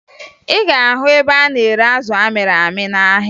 Ị ga-ahụ ebe a na-ere azụ amịrị amị n'ahịa